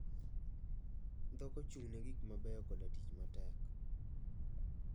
Dhok ochung'ne gik mabeyo koda tich matek.